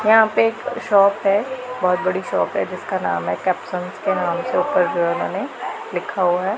यहां पे एक शॉप है बहुत बड़ी शॉप है जिसका नाम है कैप्शंस के नाम से ऊपर जो उन्होंने लिखा हुआ है।